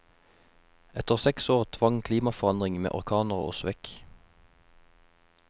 Etter seks år tvang klimaforandring med orkaner oss vekk.